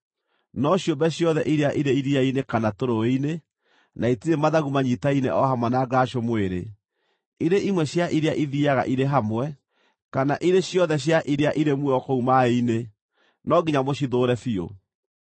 No ciũmbe ciothe iria irĩ iria-inĩ kana tũrũũĩ-inĩ, na itirĩ mathagu manyiitaine o hamwe na ngaracũ mwĩrĩ, irĩ imwe cia iria ithiiaga irĩ hamwe, kana irĩ ciothe cia iria irĩ muoyo kũu maaĩ-inĩ; no nginya mũcithũũre biũ.